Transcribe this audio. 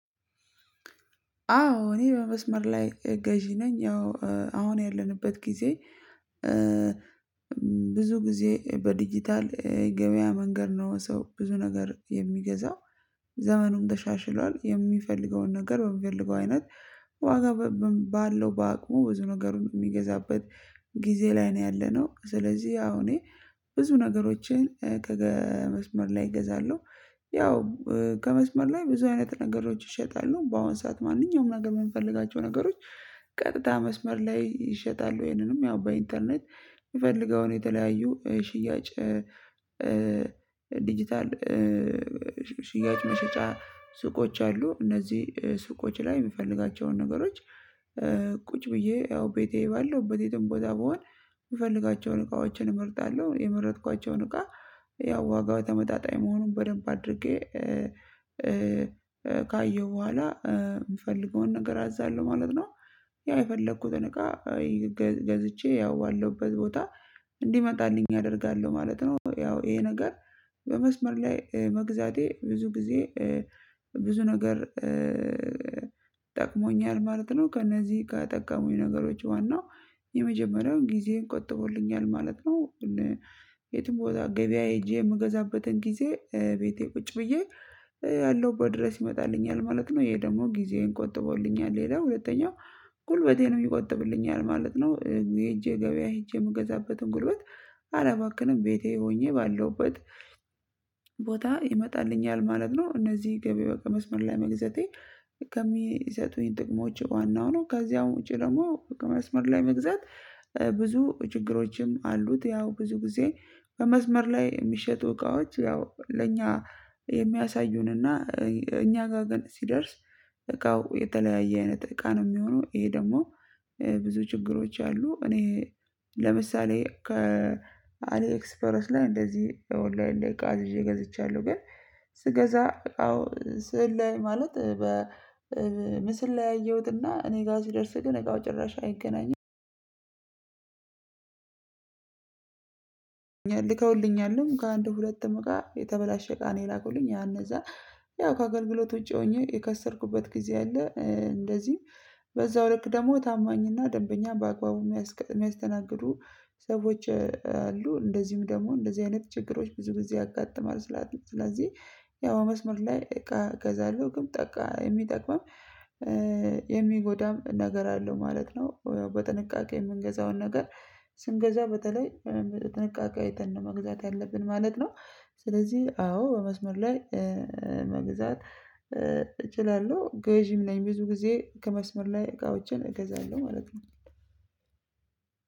አዎ እኔ በመስመር ላይ ገዢ ነኝ ያው አሁን ያለንበት ጊዜ። ብዙ ጊዜ በዲጂታል የገበያ መንገድ ነው ሰው ብዙ ነገር የሚገዛው። ዘመኑም ተሻሽሏል የሚፈልገውን ነገር በሚፈልገው አይነት ዋጋ በባ ባለው በአቅሙ ብዙ ነገር የሚገዛበት ጊዜ ላይ ነው ያለነው ስለዚህ ያው እኔ ብዙ ነገሮችን ከመስመር ላይ እገዛለሁ። ያው ከመስመር ላይ ብዙ አይነት ነገሮች እሸጣለሁ በአሁን ሰዓት ማንኛውም ነገር የምንፈልጋቸው ነገሮች። ቀጥታ መስመር ላይ ይሸጣሉ ይሄንንም ያው በኢንተርኔት የምፈልገውን የተለያዩ ሽያጭ ዲጂታል ሽያጭ መሸጫ ሱቆች አሉ እነዚህ ሱቆች ላይ የምፈልጋቸውን ነገሮች። ቁጭ ብዬ ያው ቤቴ ባለሁበት የትም ቦታ ብሆን የምፈልጋቸውን እቃዎችን እመርጣለሁ የመረጥኳቸውን እቃ ያው ዋጋው ተመጣጣኝ መሆኑን በደንብ አድርጌ ካየሁ በኋላ የምፈልገውን ነገር አዛለሁ ማለት ነው። ያ የፈለኩትን እቃ ገዝቼ ያው ባለውበት ቦታ እንዲመጣልኝ አደርጋለሁ ማለት ነው። ያው ይሄ ነገር በመስመር ላይ መግዛቴ ብዙ ጊዜ ብዙ ነገር ጠቅሞኛል ማለት ነው። ከእነዚህ ጋር ከጠቀሙኝ ነገሮች ዋናው የመጀመሪያውን ጊዜየን ቆጥቦልኛል ማለት ነው። የትም ቦታ ገበያ ሄጄ የምገዛበትን ጊዜ ቤቴ ቁጭ ብዬ ያለሁበት ድረስ ይመጣልኛል ማለት ነው። ይሄ ደግሞ ጊዜዬን ቆጥቦልኛል ሌላው ሁለተኛው ጉልበቴን ነው ይቆጥብልኛል ማለት ነው። ሄጄ ገበያ ሄጄ የምገዛበትን ጉልበት አላባክንም ቤቴ ሆኜ ባለሁበት ቦታ ይመጣልኛል ማለት ነው። እነዚህ ገበያ በመስመር ላይ መግዛቴ ከሚሰጡኝ ጥቅሞች ዋናው ነው። ከዚያም ውጪ ደግሞ ከመስመር ላይ መግዛት ብዙ ችግሮችም አሉት ያው ብዙ ጊዜ ከመስመር ላይ የሚሸጡ እቃዎች ያው ለእኛ የሚያሳዩንና እኛ ጋር ግን ሲደርስ እቃው የተለያየ አይነት እቃ ነው የሚሆነው ይሄ ደግሞ ብዙ ችግሮች አሉ። እኔ ለምሳሌ ከ አሊ ኤክስፐርስ ላይ እንደዚህ ኦንላይን እንደ እቃ አዝዤ ገዝቻለሁ ግን ስገዛ አዎ ስዕል ላይ ማለት በምስል ላይ ያየሁትና እኔ ጋር ሲደርስ ግን እቃው ጭራሽ አይገናኝም። ልከውልኛልም ከአንድ ሁለትም እቃ የተበላሸ እቃ ነው የላኩልኝ ያ እነዛ ያው ከአገልግሎት ውጪ ሆኜ የከሰርኩበት ጊዜ አለ። እንደዚህም በዛው ልክ ደግሞ ታማኝና ደንበኛ በአግባቡ የሚያስቀ የሚያስተናግዱ ሰዎች አሉ እንደዚሁም ደግሞ እንደዚህ አይነት ችግሮች ብዙ ጊዜ ያጋጥማል። ስላለ ስለዚህ ያው መስመር ላይ እቃ እገዛለሁ ግን ጠቃ የሚጠቅመን የሚጎዳም ነገር አለው ማለት ነው። በጥንቃቄ የምንገዛውን ነገር ስንገዛ በተለይ በጥንቃቄ አይተን መግዛት ያለብን ማለት ነው። ስለዚህ አዎ በመስመር ላይ መግዛት እችላለሁ ገዢም ነኝ ብዙ ጊዜ ከመስመር ላይ እቃዎችን እገዛለሁ ማለት ነው።